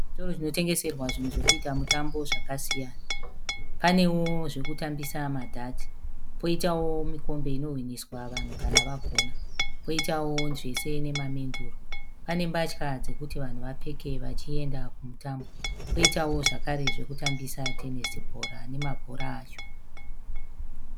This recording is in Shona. Chitoro chino tengeserwa zvinhu zvekuita mutambo zvakasiyana. Panewo zvekutambisa ma dhati. Poitawo mikombe inohwiniswa vanhu kana vagona. Poitawo zvese nema menduru. Pane mbatya dzekuti vanhu vapfeke vachienda kumutambo. Poitawo zvekare zvekutambisa tenesi bhora nemabhora acho.